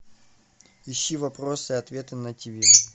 ищи вопросы и ответы на ти ви